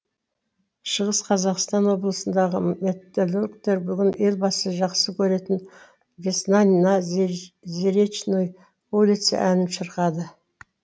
шығыс қазақстан облысындағы металлургтер бүгін елбасы жақсы көретін весна на зеречной улице әнін шырқады